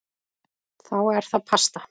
Þá er það pasta.